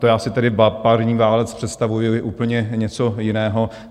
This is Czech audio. To já si tedy parní válec představuji úplně něco jiného.